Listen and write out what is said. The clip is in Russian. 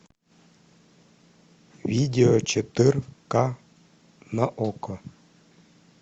видео четырка на окко